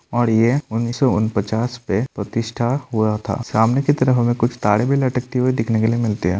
और ये उन्नीस सौ उन पचास से प्रतिष्ठा हुआ था सामने की तरफ हमें कुछ तारे भी लटकते हुए देखने को मिलते है।